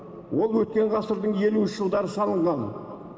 ол өткен ғасырдың елуінші жылдары салынған